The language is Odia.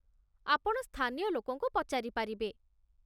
ଆପଣ ସ୍ଥାନୀୟ ଲୋକଙ୍କୁ ପଚାରିପାରିବେ।